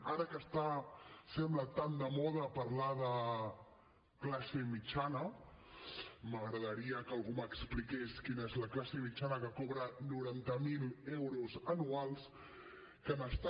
ara que està ho sembla tan de moda parlar de classe mitjana m’agradaria que algú m’expliqués quina és la classe mitjana que cobra noranta miler euros anuals que n’està